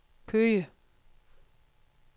Køge